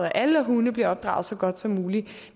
at alle hunde bliver opdraget så godt som muligt